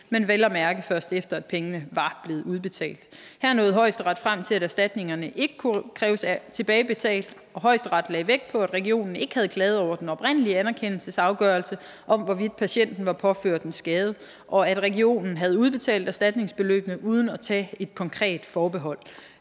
men vel at mærke først efter at pengene var blevet udbetalt her nåede højesteret frem til at erstatningerne ikke kunne kræves tilbagebetalt og højesteret lagde vægt på at regionen ikke havde klaget over den oprindelige anerkendelsesafgørelse om hvorvidt patienten var påført en skade og at regionen havde udbetalt erstatningsbeløbene uden at tage et konkret forbehold